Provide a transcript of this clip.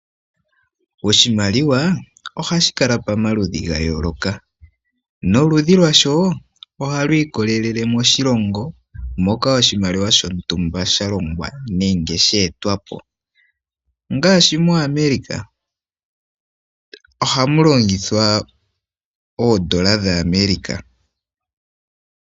Oshimaliwa ohashi kala pomaludhi ga yooloka, noludhi lwasho ohalu ikolelele moshilongo moka oshimaliwa shontumba shalongwa nenge sha etwapo ,ngaashi mo America ohamu longithwa oodola dha America.